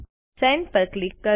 send પર click કરો